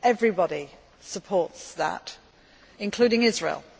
Everybody supports that, including Israel.